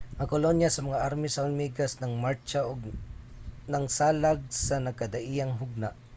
ang kolonya sa mga army sa hulmigas nang martsa ug nangsalag sa nagkadaiyang hugna